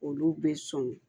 Olu bɛ sɔn